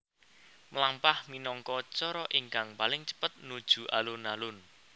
Mlampah minangka cara ingkang paling cepet nuju alun alun